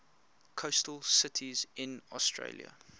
coastal cities in australia